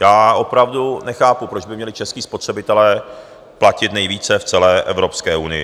Já opravdu nechápu, proč by měli čeští spotřebitelé platit nejvíce v celé Evropské unii.